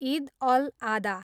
इद अल आदा